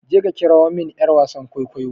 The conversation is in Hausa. je ka kira min yar wasan kwaikwayo!